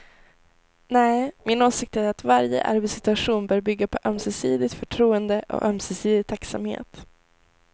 Nej, min åsikt är att varje arbetssituation bör bygga på ömsesidigt förtroende och ömsesidig tacksamhet.